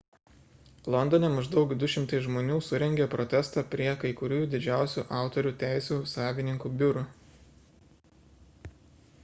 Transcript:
londone maždaug 200 žmonių surengė protestą prie kai kurių didžiausių autorių teisių savininkų biurų